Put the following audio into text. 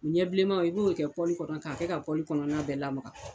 O ɲɛbilenma i b'o kɛ kɔnɔ k'a kɛ ka kɔnɔna bɛɛ lama.